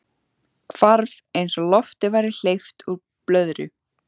Hvarf eins og lofti væri hleypt úr blöðru.